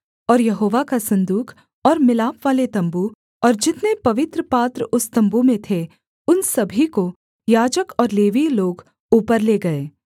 और यहोवा का सन्दूक और मिलापवाले तम्बू और जितने पवित्र पात्र उस तम्बू में थे उन सभी को याजक और लेवीय लोग ऊपर ले गए